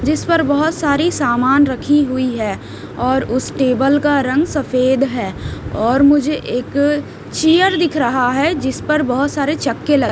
जिस पर बहुत सारी सामान रखी हुई है और उस टेबल का रंग सफेद है और मुझे एक चीयर दिख रहा है जिस पर बहुत सारे चक्के लगे--